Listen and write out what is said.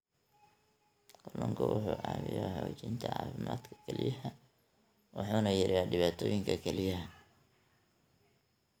Kalluunku wuxuu caawiyaa xoojinta caafimaadka kelyaha wuxuuna yareeyaa dhibaatooyinka kelyaha.